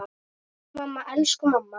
Mamma, elsku mamma.